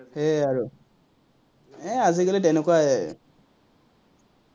সেয়াই আৰু, এৰ আজিকালি তেনেকুৱাই